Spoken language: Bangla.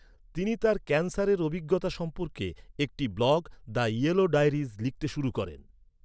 তিনি তার ক্যান্সারের অভিজ্ঞতা সম্পর্কে একটি ব্লগ, দ্য ইয়েলো ডায়েরিজ লিখতে শুরু করেন।